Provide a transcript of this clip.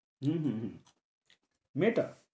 হম হম হম মেয়েটা